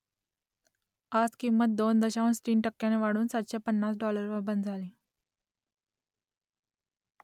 आज किंमत दोन दशांश तीन टक्क्यांनी वाढून सातशे पन्नास डॉलरवर बंद झाली